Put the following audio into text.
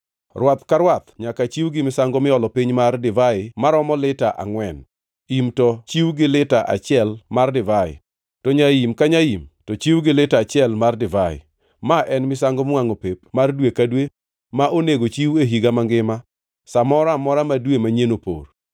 Rwath ka rwath nyaka chiw gi misango miolo piny mar divai maromo lita angʼwen; im to chiw gi lita achiel mar divai; to nyaim ka nyaim, to chiw gi lita achiel mar divai. Ma en misango miwangʼo pep mar dwe ka dwe ma onego chiw e higa mangima sa moro amora ma dwe manyien opor.